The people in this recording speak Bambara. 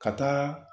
Ka taa